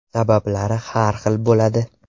Sabablar har xil bo‘ladi.